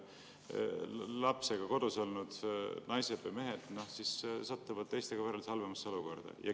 Lapsega kodus olnud naised või mehed satuvad teistega võrreldes halvemasse olukorda.